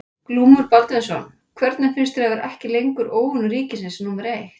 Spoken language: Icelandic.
Glúmur Baldvinsson: Hvernig finnst þér að vera ekki lengur óvinur ríkisins númer eitt?